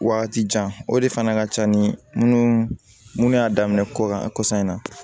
Waati jan o de fana ka ca ni minnu y'a daminɛ kɔkan kɔsan in na